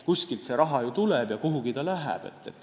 Kuskilt ju raha tuleb ja kuhugi ta läheb.